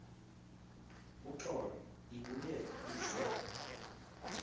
uxolo ibuye ize